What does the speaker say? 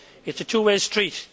It is a two way street.